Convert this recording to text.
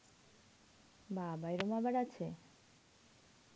বাবা! এরকম আবার আছে?